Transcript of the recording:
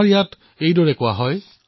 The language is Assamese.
আমাৰ ইয়াত কোৱা হয়